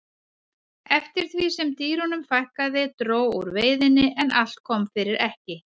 eftir því sem dýrunum fækkaði dró úr veiðinni en allt kom fyrir ekki